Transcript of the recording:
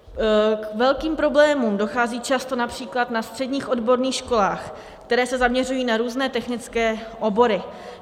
K velkým problémům dochází často například na středních odborných školách, které se zaměřují na různé technické obory.